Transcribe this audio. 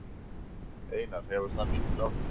Einar: Hefur það mikil áhrif?